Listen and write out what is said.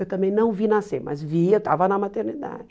Eu também não vi nascer, mas vi, eu estava na maternidade.